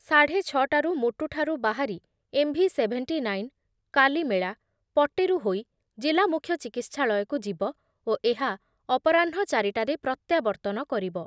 ସାଢ଼େ ଛ ଟାରୁ ମୋଟୁଠାରୁ ବାହାରି ଏମ୍‌ଭି-ସେଭେଣ୍ଟି ନାଇନ୍, କାଲିମେଳା, ପଟେରୁ ହୋଇ ଜିଲ୍ଲାମୁଖ୍ୟଚିକିତ୍ସାଳୟକୁ ଯିବ ଓ ଏହା ଅପରାହ୍ନ ଚାରି ଟାରେ ପ୍ରତ୍ୟାବର୍ତ୍ତନ କରିବ ।